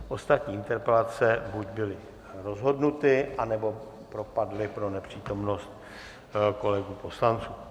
Ostatní interpelace buď byly rozhodnuty, nebo propadly pro nepřítomnost kolegů poslanců.